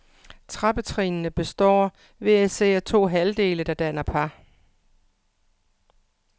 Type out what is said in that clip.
Trappetrinnene består hver især af to halvdele, der danner par.